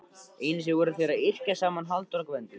Einu sinni voru þeir að yrkja saman Halldór og Gvendur.